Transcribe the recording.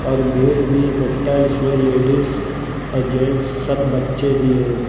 और भीड़ भी इकट्ठा जिसमें लेडिस और जेंट्स सब बच्चे भी हैं।